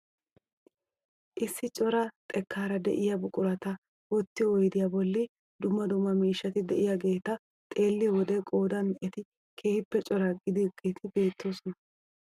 Issi cora xekkaara de'iyaa buqurata wottiyoo oydiyaa bolli dumma dumma miishshati de'iyaageta xeelliyoo wode qoodan eti keehippe cora gidaageti beettoosona.